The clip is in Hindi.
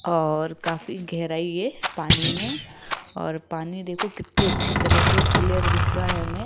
और काफी गहराई है पानी में और पानी देखो कितने अच्छे तरह से क्लियर दिख रहा है हमें।